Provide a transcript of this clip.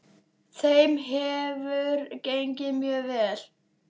Þeim hefur gengið mjög vel.